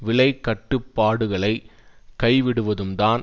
விலை கட்டுப்பாடுகளை கைவிடுவதும் தான்